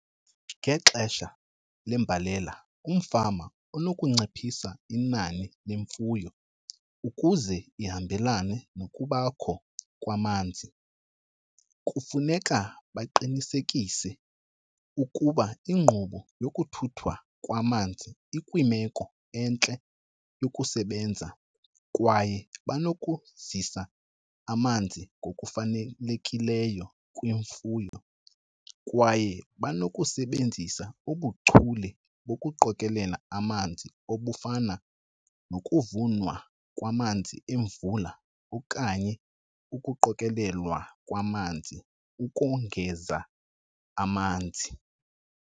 Ngexesha lembalela umfama unokunciphisa inani lemfuyo ukuze lihambelana nokubakho kwamanzi. Kufuneka baqinisekise ukuba ingqubo yokuthuthwa kwamanzi ikwimeko entle yokusebenza kwaye banokuzisa amanzi ngokufanelekileyo kwimfuyo. Kwaye banokusebenzisa ubuchule bokuqokelela amanzi obufana nokuvunwa kwamanzi emvula okanye ukuqokelelwa kwamanzi ukongeza amanzi.